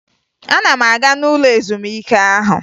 Ana m aga n'ụlọ ezumike ahụ